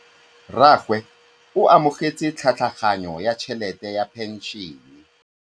Rragwe o amogetse tlhatlhaganyô ya tšhelête ya phenšene.